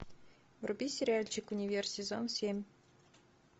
вруби сериальчик универ сезон семь